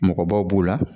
Mɔgɔbaw b'u la